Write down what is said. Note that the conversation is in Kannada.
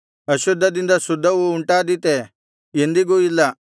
ಅಶುದ್ಧದಿಂದ ಶುದ್ಧವು ಉಂಟಾದೀತೇ ಎಂದಿಗೂ ಇಲ್ಲ